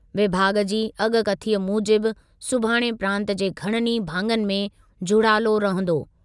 विभाॻ जी अॻकथीअ मूजिबि सुभाणे प्रांतु जे घणनि ई भाङनि में झुड़ालो रहंदो।